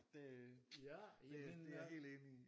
Det øh det er jeg helt enig i